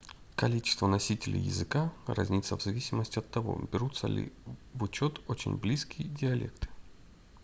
количество носителей языка разнится в зависимости от того берутся ли в учет очень близкие диалекты